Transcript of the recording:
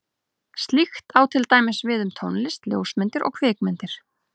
Slíkt á til dæmis við um tónlist, ljósmyndir og kvikmyndir.